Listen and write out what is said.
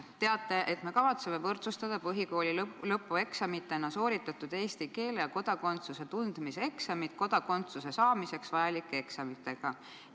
te teate, et me kavatseme võrdsustada põhikooli lõpueksamitena sooritatud eesti keele ja kodakondsuse tundmise eksamid kodakondsuse saamiseks vajalike eksamitega.